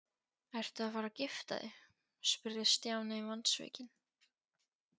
Ertu að fara að gifta þig? spurði Stjáni vonsvikinn.